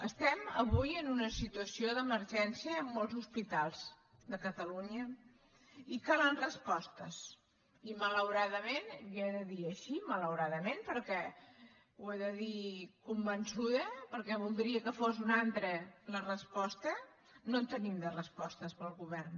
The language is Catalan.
estem avui en una situació d’emergència en molts hospitals de catalunya i calen respostes i malauradament li he de dir així malauradament perquè ho he de dir convençuda perquè voldria que fos una altra la resposta no en tenim de respostes pel govern